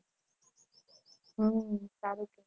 હમ સારું છે.